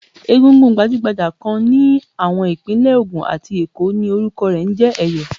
Egúngún gbajúgbajà kan ní àwọn Ìpínlẹ̀ Ògùn àti Èkó ni orúkọ rẹ̀ ń jẹ́ Ẹ̀yọ̀.